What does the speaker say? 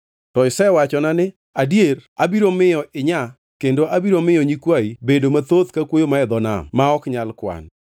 To isewachona ni, ‘Adier abiro miyo inyaa kendo abiro miyo nyikwayi bedo mathoth ka kuoyo man e dho nam, ma ok nyal kwan.’ ”